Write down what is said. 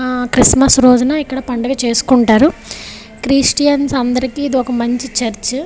హ క్రిస్మస్ రోజున ఇక్కడ పండగ చేసుకుంటారు క్రిస్టియన్స్ అందరికి ఇదొక మంచి చర్చ్ .